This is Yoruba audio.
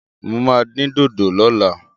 Mo máa dín dòdò lọ́la.